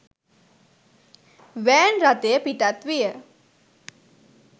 Van රථය පිටත් විය.